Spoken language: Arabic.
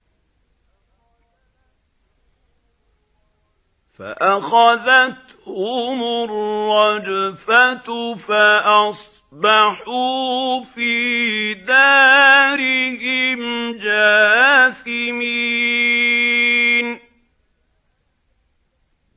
فَأَخَذَتْهُمُ الرَّجْفَةُ فَأَصْبَحُوا فِي دَارِهِمْ جَاثِمِينَ